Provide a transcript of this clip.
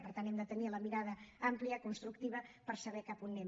per tant hem de tenir la mirada àmplia constructiva per saber cap a on anem